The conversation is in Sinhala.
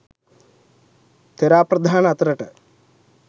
ථෙරාපද්‍රාන අතරට